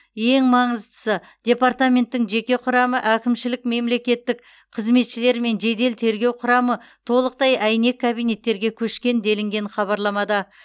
ең маңыздысы департаменттің жеке құрамы әкімшілік мемлекеттік қызметшілер мен жедел тергеу құрамы толықтай әйнек кабинеттерге көшкен делінген хабарламада